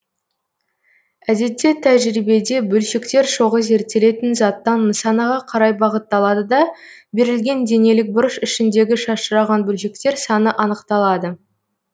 әдетте тәжірибеде бөлшектер шоғы зерттелетін заттан нысанаға қарай бағытталады да берілген денелік бұрыш ішіндегі шашыраған бөлшектер саны анықталады